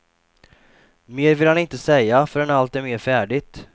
Mer vill han inte säga förrän allt är mer färdigt.